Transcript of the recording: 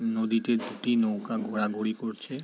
নদীটি একটি নৌকা ঘোড়া ঘুড়ি করছে ।